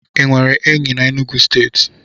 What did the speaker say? Ị nwere enyi na Enugwu steeti?